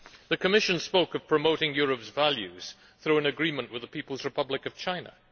The Commissioner spoke of promoting Europe's values through an agreement with the People's Republic of China.